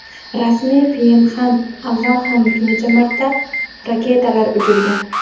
Rasmiy Pxenyan avval ham bir necha marta raketalar uchirgan .